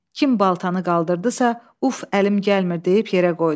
Kim baltanı qaldırdısa, uf əlim gəlmir deyib yerə qoydu.